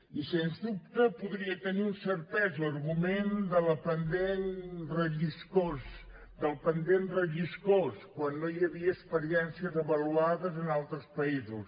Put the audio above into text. i sens dubte podria tenir un cert pes l’argument del pendent relliscós quan no hi havia experiències avaluades en altres països